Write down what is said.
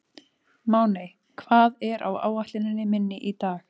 Máney, hvað er á áætluninni minni í dag?